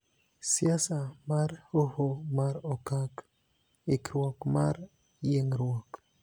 Siasa mar Hoho mar Okak ikruok mar yiengruok